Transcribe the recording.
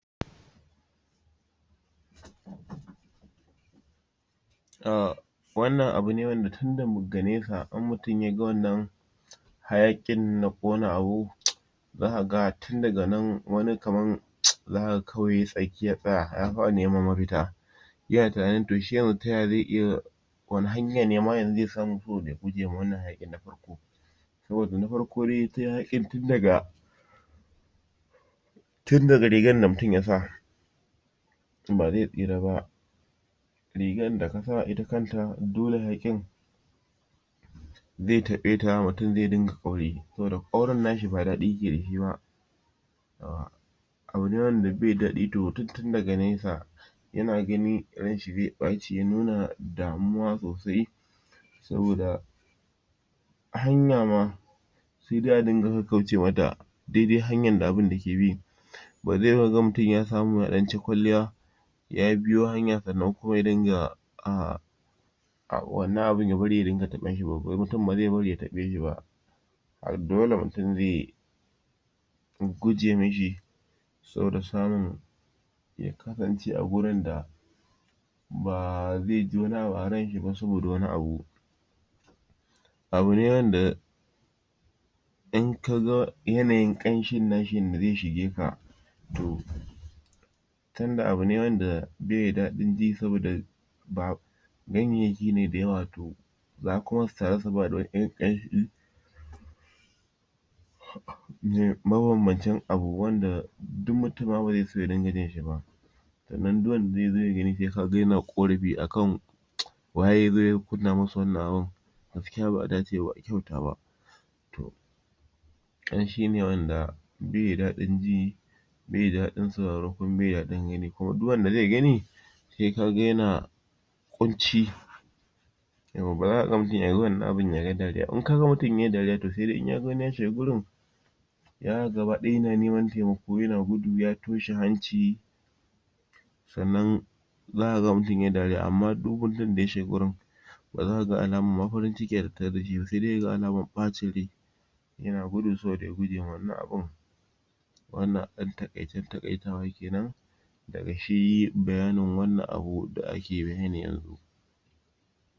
A wannan abu ne wanda tin daga nesa in mutum yaga wannan hayakin na ƙona abu zaka ga tin daga nan wani kaman zakaga yay tsaki ya tsaya ya fara neman mafuta iya tinanin to shi yanzu taya ze iya wane hanya nema ze samu ya guje ma wannan hayaƙin na farko saboda na farko dai hayaƙin tindaga [c?] tindaga rigar da mutum yasa ba ze tsira ba rigar da kasa ita kanta dole hayaƙin ze taƙaita mutum ze dinga ƙauri saboda ƙaurin nashi ba daɗi ke dashi ba um abu ne wanda be daɗi wa mutum tin daga nesa yana gani ranshi ze ɓaci ya nuna damuwa sosai saboda a hanya ma se dai a dinga kakkauce mata daidai hanyar da abun yake bi bale kaga mutum ya samu ya ɗanci kwalliya ya biyo hanya sannan kuma ya dinga a wannan abun ya bari ya dinga taɓa shiba mutum baze bari ya shafe shiba dole mutum ze guje mishi saboda samun ya kasance a gurinda ba zeji wani abu a ranshi ba saboda wani abu abune wanda in kaga yanayin ƙanshin nashi yanda ze shige ka to tinda abune wanda beda daɗin ji saboda ba ganyayyaki ne da yawa to za kuma su taru su bada wani ƙanshi ma banbancin abu wanda duk mutum ma baze so ya dinga jinshi ba sannan duk wanda yazo ya gani ze na ƙorafi akan um waya zo ya kunna musu wannan abun gaskiya baʼa dace ba baʼa kyauta ba ƙanshi ne wanda beda daɗin ji be da daɗin sauraro kuma be da daɗin gani kuma duk wanda ze gani se kaga yana ƙunci yawwa baza kaga mutum yaga wannan abun yayi dariya ba in kaga mutum yay dariya se dai wani in ya shiga gurin zakaga gaba ɗaya yana neman taimako yana gudu ya toshe hanci sannan zaka ga mutum yai dariya amma duk mutum da ya shiga gurin baza kaga alamun farin ciki a tattare dashi ba se dai kaga alamar ɓacin rai yana gudu saboda ya gujewa wannan abun wannan a ɗan taƙaicen taƙaitawa kenan daga shi baya nin wannan abu da ake bayani yanzu